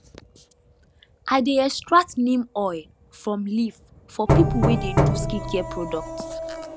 i dey extract neem oil from leaf for people wey dey do skincare product